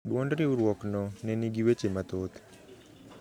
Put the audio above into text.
Duond riurwokno ne nigi weche mathoth